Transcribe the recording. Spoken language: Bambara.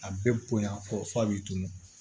A bɛɛ bonya fɔ f'a b'i tunu